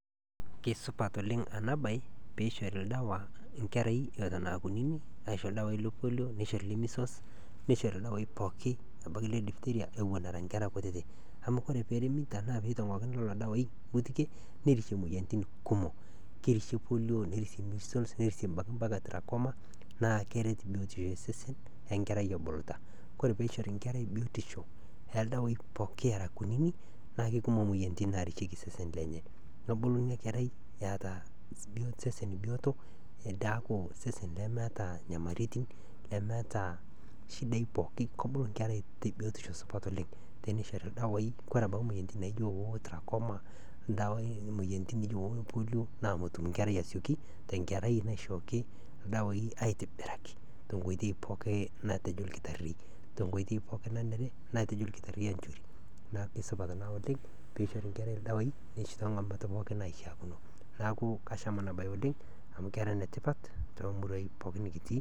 Kore eng'eno niyeu neishaakino nieta, piyas ena baye aaku taa piikut emaalo amu emaalo ena nadolita peekut oltungani naa inchere, keishaa nieta nimpractise nkolong'i kumok amu melelek nkutata ena toki, neishaa naa nilo netii ltunganak naaji looyolo ena siaai nikituutaki tenkuton naa kore esiaai kore embaye enkae naa keifaa niyiolou nieta ltunganak oota kuna masaa ashu ltungani oyiolo mpikata masaa oolmaasai oltungana ooyiolo aitibira, nikintobiraki peetumoki naa atalioi te sidai matejo naii tana igira aiparticipate, keishoru pisha sidai ajo oltungani ale oota seseni te ena siai naa eranyare.